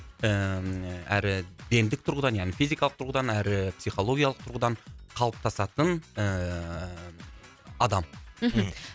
ііі әрі гендік тұрғыдан яғни физикалық тұрғыдан әрі психологиялық тұрғыдан қалыптасатын ііі адам мхм